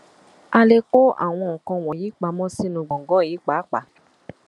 a lè kó àwọn nǹkan wọnyí pamọ sínú gbọngàn yìí pàápàá